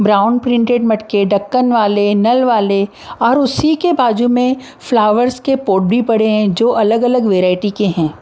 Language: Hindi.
ब्राउन प्रिंटेड मटके ढक्कन वाले नल वाले और उसी के बाजू में फ्लावर्स के पोर्ट भी पड़े हैं जो अलग अलग वेरायटीज के हैं।